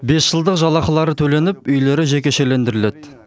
бес жылдық жалақылары төленіп үйлері жекешелендіріледі